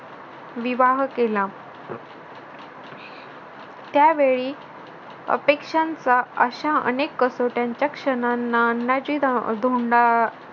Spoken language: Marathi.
विवाह केला त्यावेळी अपेक्षांचा अशा अनेक कसोट्यांच्या क्षणांना अन्नाची ध आह धोंडा